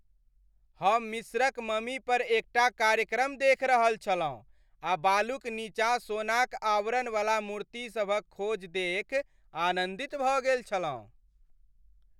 हम मिस्रक ममीपर एक टा कार्यक्रम देखि रहल छलहुँ आ बालुक नीचाँ सोनाक आवरणवला मूर्ति सभक खोज देखि आनन्दित भऽ गेल छलहुँ।